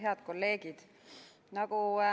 Head kolleegid!